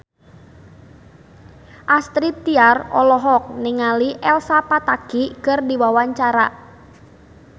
Astrid Tiar olohok ningali Elsa Pataky keur diwawancara